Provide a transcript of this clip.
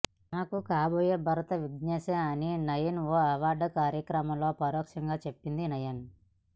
తనకు కాబోయే భర్త విగ్నేశే అని నయన్ ఓ అవార్డుల కార్యక్రమంలో పరోక్షంగా చెప్పింది నయన్